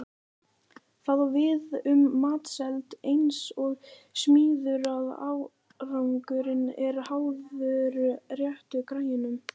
Það á við um matseld eins og smíðar að árangurinn er háður réttu græjunum.